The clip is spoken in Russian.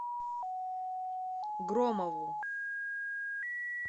громову